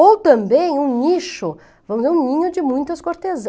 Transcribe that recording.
Ou também um nicho, vamos dizer, um ninho de muitas